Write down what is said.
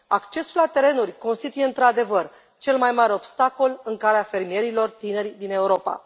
Accesul la terenuri constituie, într adevăr, cel mai mare obstacol în calea fermierilor tineri din Europa.